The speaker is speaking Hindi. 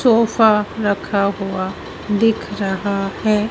सोफा रखा हुआ दिख रहा है।